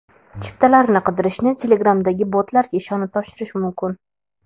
Chiptalarni qidirishni Telegram’dagi botlarga ishonib topshirish mumkin.